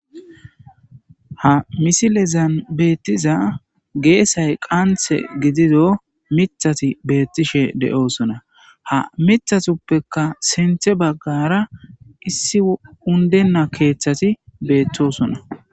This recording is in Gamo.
Ha missilezan bethiza gesay qanthe gidido mithathi bethishe deo'ssonna. Ha mithathopeka sinthe bagara issi bagara undena kethathi bethossona.